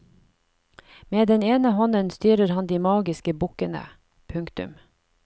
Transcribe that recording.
Med den ene hånden styrer han de magiske bukkene. punktum